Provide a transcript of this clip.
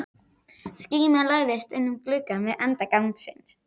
Skíma læðist inn um glugga við enda gangsins.